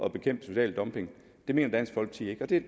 at bekæmpe social dumping det mener dansk folkeparti